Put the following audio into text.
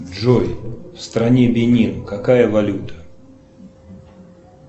джой в стране бенин какая валюта